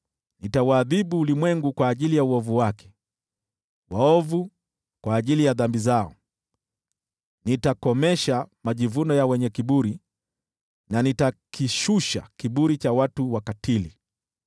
Nitauadhibu ulimwengu kwa ajili ya uovu wake, waovu kwa ajili ya dhambi zao. Nitakomesha majivuno ya wenye kiburi, na nitakishusha kiburi cha watu wakatili.